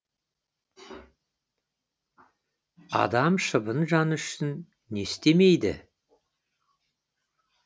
адам шыбын жаны үшін не істемейді